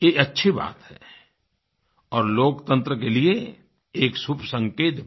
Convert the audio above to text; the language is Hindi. ये अच्छी बात है और लोकतंत्र के लिए एक शुभ संकेत भी